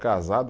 Casado